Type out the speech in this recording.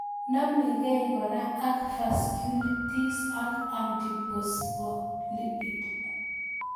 Nameg'ei kora ak vasculitis ak antiphospholipid